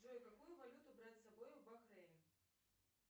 джой какую валюту брать с собой в бахрейн